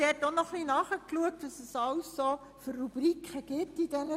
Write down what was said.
Ich habe nachgesehen, welche SNBS-Rubriken bestehen.